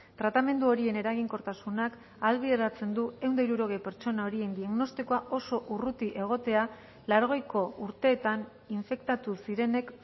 tratamendu horien eraginkortasunak ahalbideratzen du ehun eta hirurogei pertsona horien diagnostikoa oso urruti egotea laurogeiko urteetan infektatu zirenek